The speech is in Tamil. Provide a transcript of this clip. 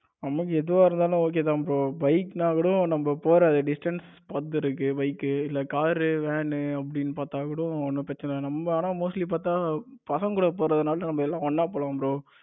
நமக்கு எதுவா இருந்தாலும் okay தா bro bike னா கூட நம்ம போற distance பொறுத்து இருக்கு. bike இல்ல car ரு van னு அப்படின்னு பார்த்தா கூட ஒன்னும் பிரச்சனை இல்ல நம்ம ஆனா Mostly பாத்தா பசங்க கூட போறதுனால நம்ம எல்லாம் நல்லா போலாம் bro